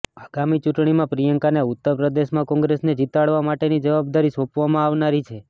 આગામી ચૂંટણીમાં પ્રિયંકાને ઉત્તર પ્રદેશમાં કોંગ્રેસને જીતાડવા માટેની જવાબદારી સોંપવામાં આવનારી છે